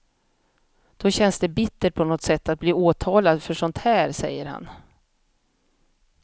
Då känns det bittert på något sätt att bli åtalad för sånt här, säger han.